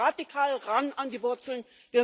Wir müssen radikal ran an die Wurzeln.